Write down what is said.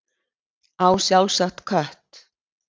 Á sjálfsagt kött.